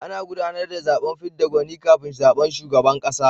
Ana gudanar da zaben fidda gwani kafin zaben shugaban kasa.